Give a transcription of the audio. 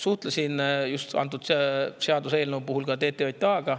Suhtlesin antud seaduseelnõu puhul ka just TTJA‑ga.